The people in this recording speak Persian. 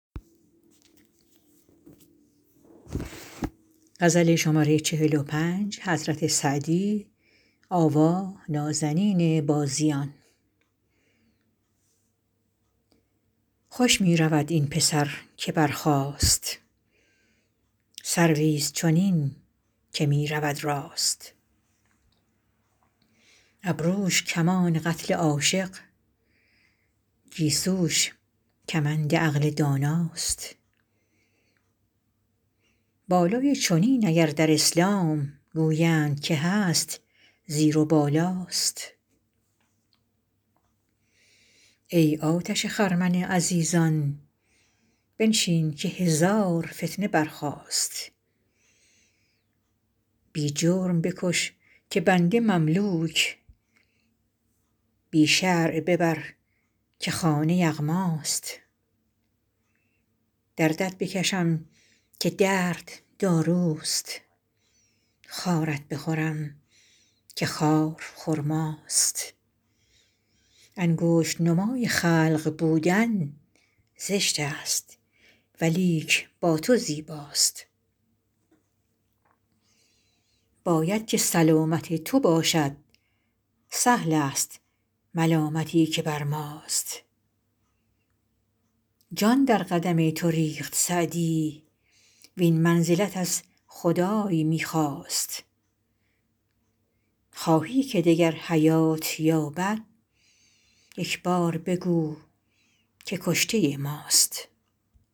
خوش می رود این پسر که برخاست سرویست چنین که می رود راست ابروش کمان قتل عاشق گیسوش کمند عقل داناست بالای چنین اگر در اسلام گویند که هست زیر و بالاست ای آتش خرمن عزیزان بنشین که هزار فتنه برخاست بی جرم بکش که بنده مملوک بی شرع ببر که خانه یغماست دردت بکشم که درد داروست خارت بخورم که خار خرماست انگشت نمای خلق بودن زشت است ولیک با تو زیباست باید که سلامت تو باشد سهل است ملامتی که بر ماست جان در قدم تو ریخت سعدی وین منزلت از خدای می خواست خواهی که دگر حیات یابد یک بار بگو که کشته ماست